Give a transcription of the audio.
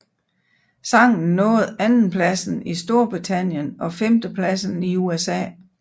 Sangen nåede andenpladsen i Storbritannien og femtepladsen i USA